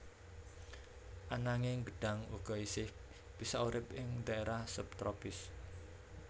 Ananging gedhang uga isih bisa urip ing dhaérah sub tropis